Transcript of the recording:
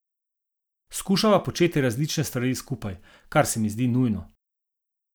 Skušava početi različne stvari skupaj, kar se mi zdi nujno.